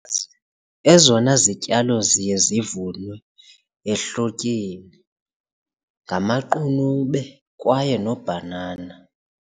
Ezona zityalo ziye zivunwe ehlotyeni ngamaqunube kwaye nobhanana.